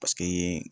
Paseke